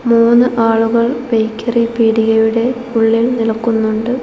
മൂന്ന് ആളുകൾ ബേക്കറി പീടിയയുടെ ഉള്ളിൽ നിൽക്കുന്നുണ്ട്.